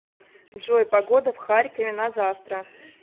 джой погода в харькове на завтра